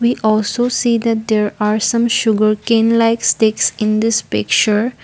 we also see that there are some sugarcane like sticks in this picture.